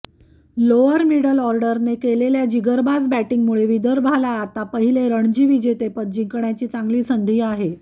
lower middle ऑर्डरने केलेल्या जिगरबाज बॅटिंगमुळे विदर्भाला आता पहिले रणजी विजेतेपद जिंकण्याची चांगली संधी आहे